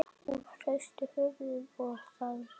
Hún hristi höfuðið og þagði.